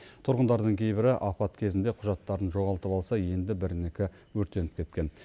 тұрғындардың кейбірі апат кезінде құжаттарын жоғалтып алса енді бірінікі өртеніп кеткен